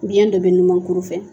Biyɛn dɔ bɛ ɲumankuru fɛ.